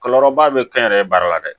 Kɔlɔlɔba bɛ kɛ n yɛrɛ ye baara la dɛ